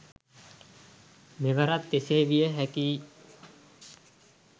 මෙවරත් එසේ විය හැකි යි.